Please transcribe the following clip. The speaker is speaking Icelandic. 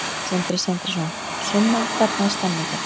Sindri Sindrason: Sunna, hvernig er stemningin?